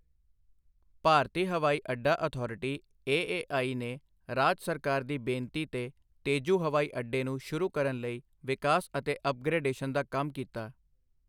ਭਾਰਤੀ ਹਵਾਈ ਅੱਡਾ authority AAI ਨੇ ਰਾਜ ਸਰਕਾਰ ਦੀ ਬੇਨਤੀ ਤੇ ਤੇਜੂ ਹਵਾਈ ਅੱਡੇ ਨੂੰ ਸ਼ੁਰੂ ਕਰਨ ਲਈ ਵਿਕਾਸ ਅਤੇ ਅਪਗ੍ਰੇਡਸ਼ਨ ਦਾ ਕੰਮ ਕੀਤਾ।